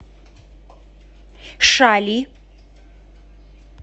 шали